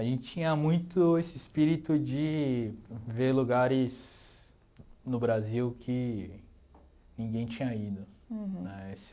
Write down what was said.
A gente tinha muito esse espírito de ver lugares no Brasil que ninguém tinha ido né.